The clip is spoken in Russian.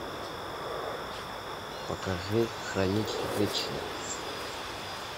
покажи хранить вечно